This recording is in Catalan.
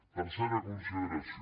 tercera consideració